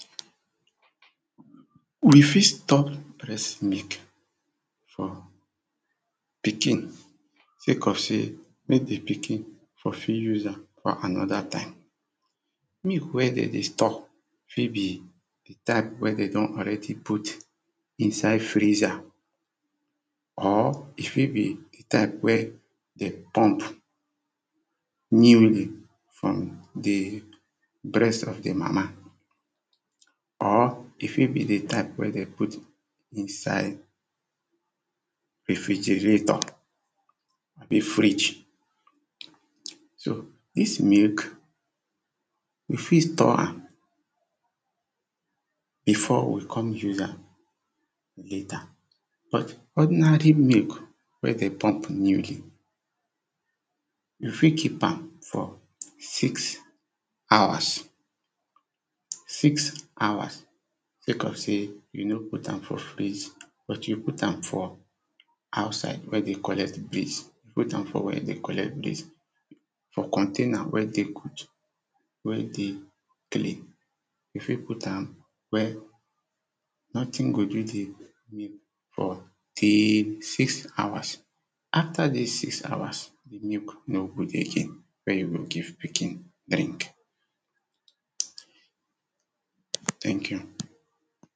We fit store breast milk for pikin sake of sey make di pikin for fit use am for another time, milk wen dem dey store fit be di type wen dem done alredy put inside freezer, or e fit be dat wen dem pump newly from di breast of di mama. Ore fit be di type wen dem put inside refrigerator abi fridge so dis milk we fit store am, before we come use am later, but ordinary milk wen dem pump newly you fit keep am for six hours. Six hours sake of sey you no put am for fridge but you put am for outside wen dey collect breeze, put am for where dey collect breeze, for container wen dey good, wen dey clean you fit put wen nothing go do di milk for di six hours. After di six hours, di milk no good again wen you go give pikin., thank you